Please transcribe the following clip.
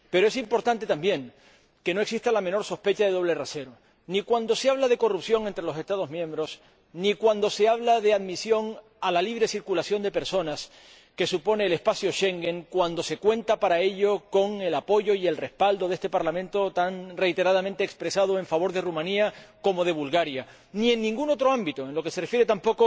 Pero es importante también que no exista la menor sospecha de doble rasero, ni cuando se habla de corrupción entre los Estados miembros, ni cuando se habla de admisión a la libre circulación de personas que supone el espacio Schengen, cuando se cuenta para ello con el apoyo y el respaldo de este Parlamento, tan reiteradamente expresado en favor de Rumanía y de Bulgaria, ni en ningún otro ámbito, tampoco en lo que se refiere a